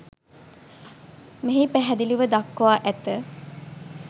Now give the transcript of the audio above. මෙහි පැහැදිලිව දක්වා ඇත.